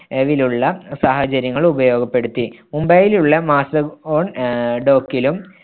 വിലുള്ള സാഹചര്യങ്ങൾ ഉപയോഗപ്പെടുത്തി. മുംബൈയിലുള്ള ആഹ് dock ലും